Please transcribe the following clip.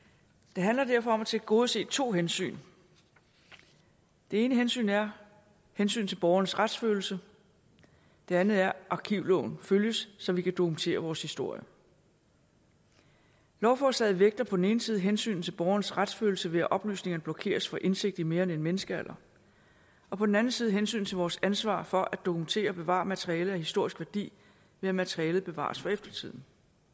det handler derfor om at tilgodese to hensyn det ene hensyn er hensynet til borgernes retsfølelse det andet er at arkivloven følges så vi kan dokumentere vores historie lovforslaget vægter på den ene side hensynet til borgernes retsfølelse ved at oplysningerne blokeres for indsigt i mere end en menneskealder og på den anden side hensynet til vores ansvar for at dokumentere og bevare materiale af historisk værdi ved at materialet bevares for eftertiden